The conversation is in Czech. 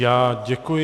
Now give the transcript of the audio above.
Já děkuji.